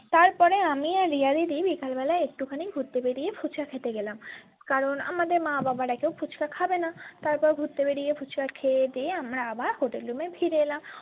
তারপরে আমি আর রিয়া দিদি বিকাল বেলায় একটু খানি ঘুরতে বেরিয়ে ফুচকা খেতে গেলাম কারণ আমাদের মা বাবারা কেউ ফুচ্কা খাবেনা তারপর ঘুরতে বেরিয়ে ফুচকা খেয়ে দিয়ে আমরা hotel room এ ফিরে এলাম।